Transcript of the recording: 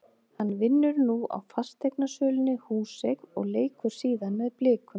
Hann vinnur nú á fasteignasölunni Húseign og leikur síðan með Blikum.